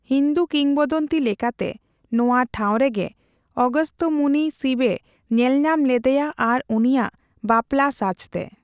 ᱦᱩᱱᱫᱩ ᱠᱤᱝᱵᱚᱫᱚᱱᱛᱤ ᱞᱮᱠᱟᱛᱮ, ᱱᱚᱣᱟ ᱴᱷᱟᱣ ᱨᱮᱜᱮ ᱚᱜᱚᱥᱛᱚ ᱢᱩᱱᱤ ᱥᱤᱵᱮ ᱧᱮᱞᱧᱟᱢ ᱞᱮᱫᱮᱭᱟ ᱟᱨ ᱩᱱᱤᱭᱟᱜ ᱵᱟᱯᱞᱟ ᱥᱟᱡᱽᱛᱮ ᱾